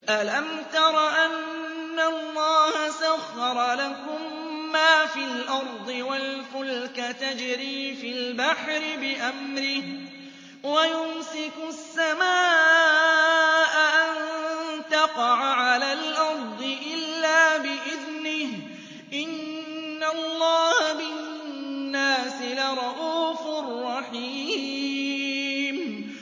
أَلَمْ تَرَ أَنَّ اللَّهَ سَخَّرَ لَكُم مَّا فِي الْأَرْضِ وَالْفُلْكَ تَجْرِي فِي الْبَحْرِ بِأَمْرِهِ وَيُمْسِكُ السَّمَاءَ أَن تَقَعَ عَلَى الْأَرْضِ إِلَّا بِإِذْنِهِ ۗ إِنَّ اللَّهَ بِالنَّاسِ لَرَءُوفٌ رَّحِيمٌ